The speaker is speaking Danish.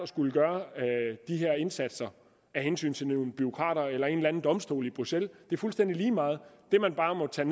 skulle gøre de her indsatser af hensyn til nogle bureaukrater eller en eller anden domstol i bruxelles det er fuldstændig lige meget det man bare må tage